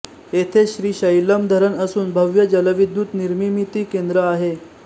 येथे श्रीशैलम् धरण असून भव्य जलविद्युत निर्मिमीती केंद्र आहे